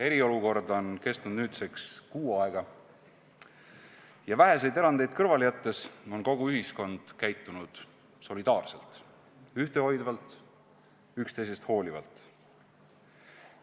Eriolukord on kestnud nüüdseks kuu aega ja väheseid erandeid kõrvale jättes on kogu ühiskond käitunud solidaarselt, ühtehoidvalt, üksteisest hoolivalt.